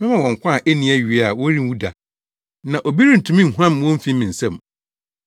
Mema wɔn nkwa a enni awiei a wɔrenwu da, na obi rentumi nhuam wɔn mfi me nsam.